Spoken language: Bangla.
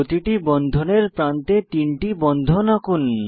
প্রতিটি বন্ধনের প্রান্তে তিনটি বন্ধন আঁকুন